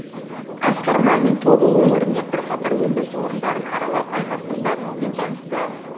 асқар мамин тобыл өңірінде бірқатар өндіріс орындарын аралап аймақтың дамуымен танысты